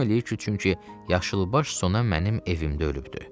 Məlum eləyir ki, çünki yaşılbaş sona mənim evimdə ölübdür.